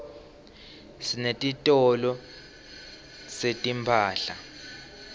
sinetitolo setimphahla